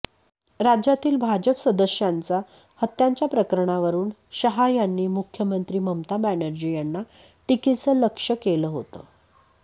राज्यातील भाजप सदस्यांच्या हत्यांच्या प्रकरणांवरून शहा यांनी मुख्यमंत्री ममता बॅनर्जी यांना टीकेचं लक्ष्य केलं होतं